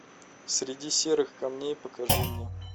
среди серых камней покажи мне